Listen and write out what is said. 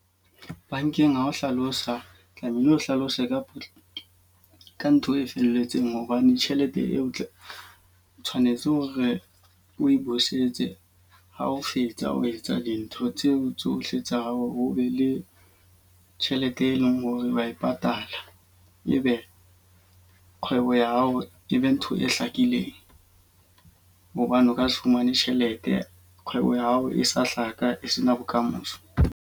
Bankeng ha o hlalosa, tlamehile o hlalose ka ka ntho e felletseng hobane tjhelete eo o tle o tshwanetse o re o e busetse ha o fetsa ho etsa dintho tseo tsohle tsa hao o be le tjhelete e leng hore wa e patala. E be kgwebo ya hao e be ntho e hlakileng. Hobane o ka se fumane tjhelete kgwebo ya hao e sa hlaka, e se na bokamoso.